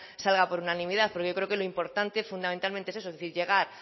salga por unanimidad porque yo creo que lo importante fundamentalmente es eso es decir llegar